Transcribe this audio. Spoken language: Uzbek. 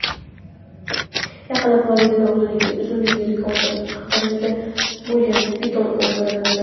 Yaqinda Floridada uzunligi rekord darajada bo‘lgan piton o‘ldirildi.